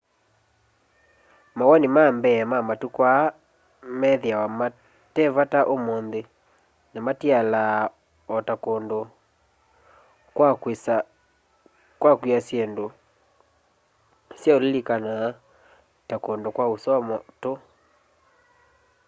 mawoni ma mbee wa matuku aya methiawa matai vata umunthu na matialaa o ta kundu kwa kwiia syindu sya ulilikanaa kama kundu kwa usoma tu